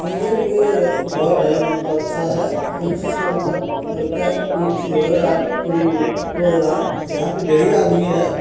निगे-निगे घर हेय मतलब अच्छा हेय उम्म कोनो चीज का लगता हैं कोनो चीज हो रहा हेय पु प्रोग्राम यहां पर ढेरी आदमी हेय।